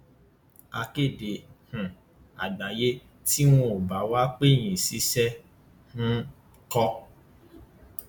akéde um àgbáyé tí wọn ò bá wàá pè yín ṣiṣẹ um ńkọ